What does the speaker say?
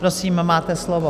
Prosím, máte slovo.